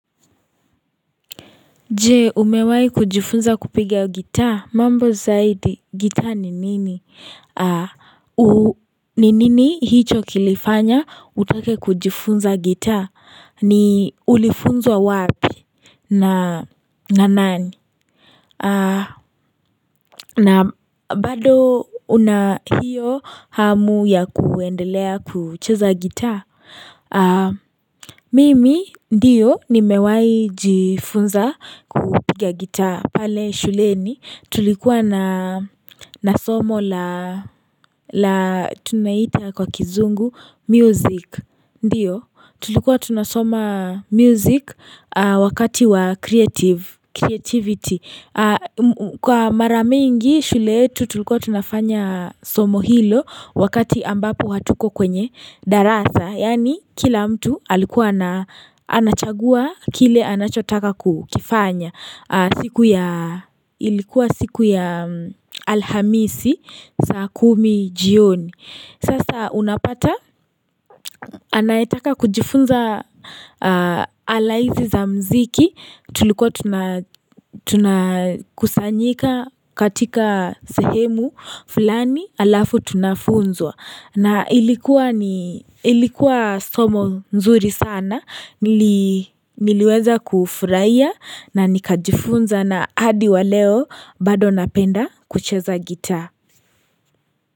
Jee, umewai kujifunza kupiga gitaa? Mambo zaidi, gitaa ni nini? Ni nini hicho kilifanya utake kujifunza gitaa? Ni ulifunzwa wa wapi? Na nani? Na baado una hiyo hamu ya kuendelea kucheza gitaa? Mimi ndiyo nimewai jifunza kupiga gita pale shuleni tulikuwa na na somo la la tunaita kwa kizungu music Ndiyo tulikuwa tunasoma music wakati wa creative creativity Kwa mara mingi shule tu tulikuwa tunafanya somo hilo wakati ambapo hatuko kwenye darasa Yani kila mtu alikuwa ana anachagua kile anachotaka ku kifanya siku ya ilikuwa siku ya alhamisi saa kumi jioni Sasa unapata anayetaka kujifunza ala hizi za mziki tulikuwa tuna tunakusanyika katika sehemu fulani alafu tunafunzwa na ilikuwa ni ilikuwa somo nzuri sana niliweza kufurahia na nikajifunza na hadi wa leo baado napenda kucheza gitaa.